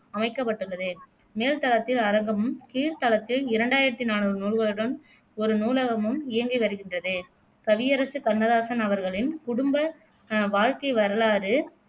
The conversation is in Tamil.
அமைக்கப்பட்டுள்ளது மேல்தளத்தில் அரங்கமும், கீழ்தளத்தில் இரண்டாயிரத்தி நானூறு நூல்களுடன் ஒரு நூலகமும் இயங்கி வருகின்றது கவியரசு கண்ணதாசன் அவர்களின் குடும்ப அஹ் வாழ்க்கை வரலாறு